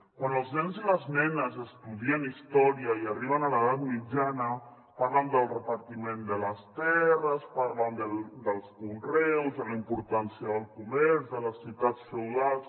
quan els nens i les nenes estudien història i arriben a l’edat mitjana parlen del repartiment de les terres parlen dels conreus de la importància del comerç de les ciutats feudals